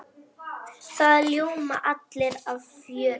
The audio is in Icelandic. Það ljóma allir af fjöri.